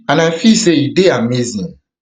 and i feel say e dey amazing